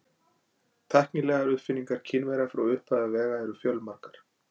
Tæknilegar uppfinningar Kínverja frá upphafi vega eru fjölmargar.